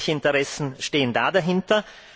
Welche Interessen stehen da dahinter?